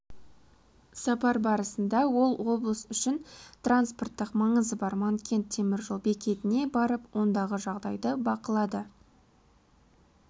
сапар барысында ол облыс үшін транспорттық маңызы бар манкент темір жол бекетіне барып ондағы жағдайды бақылады